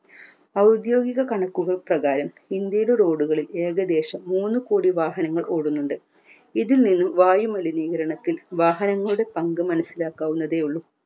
ഔദ്യോഗിക കണക്കുകൾ പ്രകാരം ഇന്ത്യയുടെ road ഉകളിൽ ഏകദേശം മൂന്നുകോടി വാഹനങ്ങൾ ഓടുന്നുണ്ട് ഇതിൽ നിന്നും വായുമലിനീകരണത്തിൽ വാഹനങ്ങളുടെ പങ്ക് മനസ്സിലാക്കാവുന്നതേ ഉള്ളു